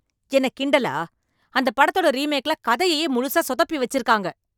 என்ன கிண்டலா? அந்தப் படத்தோட ரீமேக்ல கதையையே முழுசா சொதப்பி வச்சிருக்காங்க.